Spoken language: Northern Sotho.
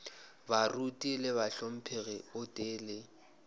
baruti le bahlomphegi gotee le